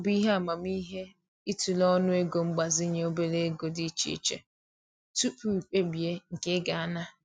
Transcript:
Ọ bụ ihe amamihe i tụlee ọnụego mgbazinye obere ego dị iche iche tupu i kpebie nke ị ga ana.